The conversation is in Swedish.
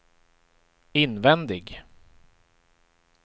invändig